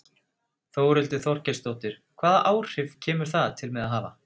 Þórhildur Þorkelsdóttir: Hvaða áhrif kemur það til með að hafa?